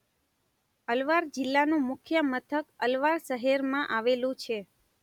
અલવાર જિલ્લાનું મુખ્ય મથક અલવાર શહેરમાં આવેલું છે.